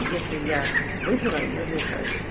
если я выпила я заикаюсь